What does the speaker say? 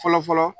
Fɔlɔ fɔlɔ